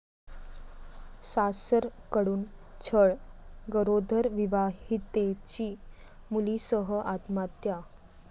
सासरकडून छळ, गरोदर विवाहितेची मुलीसह आत्महत्या